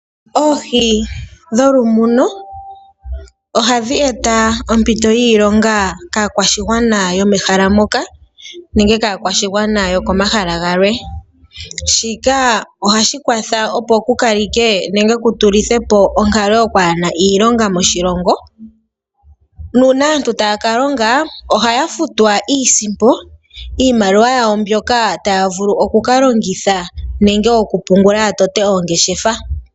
Oohi dholumuno ohadhi eta ompito yiilonga kaakwashigwana yomehala moka nenge kaakwashigwana yokomahala galwe. Shika ohashi kwatha opo ku kalekwe nenge ku tulithwe po onkalo yokwaahena iilonga moshilongo nuuna aantu taya ka longa ohaya futwa iisimpo, iimaliwa yawo mbyoka taya vulu oku ka longitha nenge okupungula ya tote oongeshefa.